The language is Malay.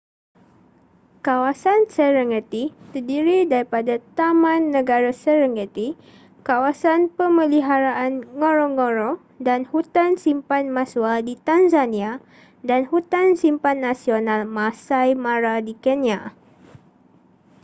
kawasan serengeti terdiri daripada taman negara serengeti kawasan pemeliharaan ngorongoro dan hutan simpan maswa di tanzania dan hutan simpan nasional maasai mara di kenya